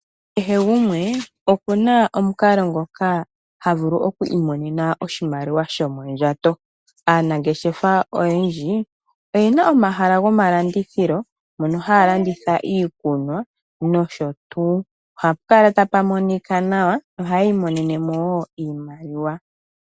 Kehe gumwe okuna omukalo ngoka havulu oku imonena oshimaliwa shomondjato. Aanangeshefa oyendji oyena Omahala gomalandithilo mono haya landitha iikunwa nosho tuu. Ohapu kala tapu monika nawa ohayi ominene woo oshimaliwa.